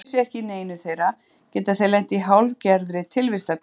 Finni þeir sig ekki í neinu þeirra geta þeir lent í hálfgerðri tilvistarkreppu.